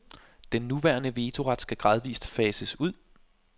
Den nuværende vetoret skal gradvist fases ud.